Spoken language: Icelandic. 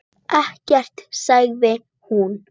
Ekkert, sagði hún.